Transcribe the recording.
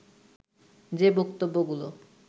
যে বক্তব্যগুলো